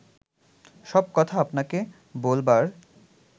সব কথা আপনাকে বলবার